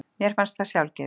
Mér fannst það sjálfgefið.